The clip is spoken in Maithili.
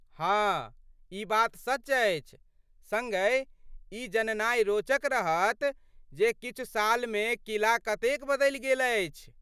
हाँ ,ई बात सच अछि। सङ्गहि, ई जननाइ रोचक रहत जे किछु सालमे किला कतेक बदलि गेल अछि।